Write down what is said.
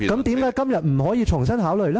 為何今天不可以重新考慮？